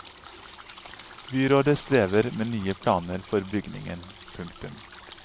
Byrådet strever med nye planer for bygningen. punktum